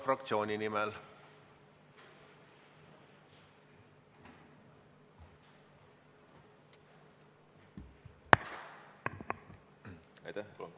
Palun kolm minutit juurde!